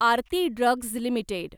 Aarti drugs limited